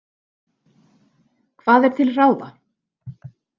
Hvað er til ráða?